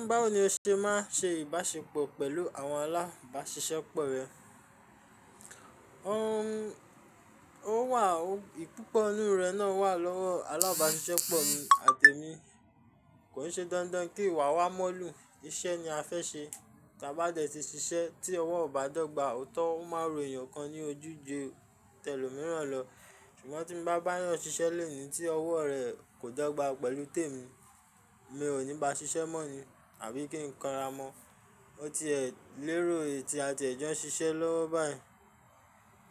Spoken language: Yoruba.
Ńba ní o ṣe máa ṣe ìbáṣepọ̀ pẹ̀lú àwọn alábáṣiṣẹ́pọ̀ rẹ? O wà, ìpúpọ̀ ọ̀nù rẹ náà wà lọ́wọ́ alábáṣiṣẹ́pọ̀ mi àti emi. Kò ṣe dandan kí ìwà wa mọ́lù, iṣẹ́ ni a fẹ́ ṣe. Tí a bá dẹ̀ ti ṣiṣẹ́ tí ọwọ́ ọ̀ bá dọ́gba, òótọ́ ọ máa rò ènìyàn kan ní ojú ju tẹlòmíràn lọ. Ṣùgbọ́n tí mo bá bá yàn ṣiṣẹ́ lẹ́yìn tí ọwọ́ rẹ̀ kò dọ́gba pẹ̀lú tèmi, mi ò ní ba ṣiṣẹ́ mọ́ ni àbí kí n kọ́ra mọ́. O ti ẹ̀ lérò èyí tí a ti jẹ́ ṣiṣẹ́ lọ́wọ́ báyìí.